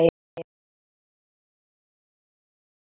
Já, þetta var hrein heppni.